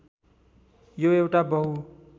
यो एउटा बहु